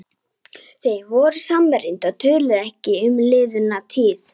Þau voru samrýnd og töluðu ekki um liðna tíð.